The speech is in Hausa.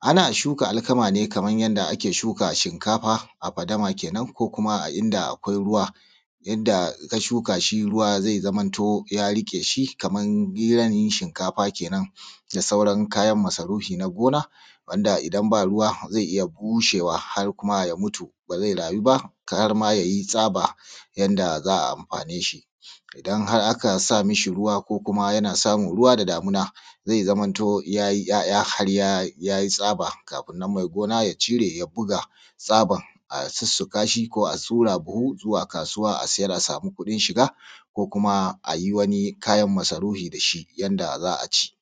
Ana shuka alkama ne kamar yanda ake shuka shinkafa a fadama kenan ko kuma a inda akwai ruwa yanda in ka shuka shi ruwa zai zamanto ya riƙe shi kaman gidan shinkafa kenan da sauran kayan masarufi na gona wanda idan baa ruwa zai iya bushewa har kuma ya mutu ba zai raayu ba har ma yayi tsaba yanda za a amfaane shi. Idan kuma har a ka sa ma shi ruwa ko kuma yana samun ruwa da damuna zai zamanto yayi 'ya'ya har yayi tsaba kafin nan mai gona ya cire ya buga tsaban a sussuƙashi ko a ɗura a buhu zuwa kaasuwa a siyar a samu kuɗin shiga ko kuma a yi wani kayan masarufi da shi yanda za a ci.